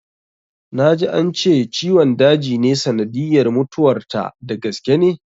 Na ji ance ciwon daji ne sanadiyyar mutuwar ta, da gaske ne?